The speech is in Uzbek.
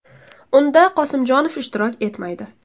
Unda Qosimjonov ishtirok etmaydi.